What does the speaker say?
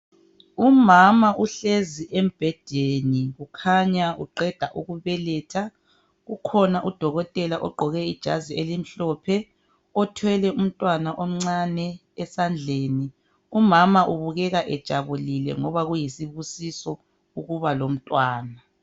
Umama uhlezi embhedeni ukhanya uqeda ukubeletha .Kukhona udokotela ogqoke ijazi elimhlophe. Othwele umntwana omncane esandleni .Umama ubukeka ejabulile ngoba kuyisibusiso ukuba lomntwana.